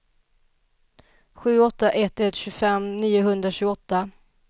sju åtta ett ett tjugofem niohundratjugoåtta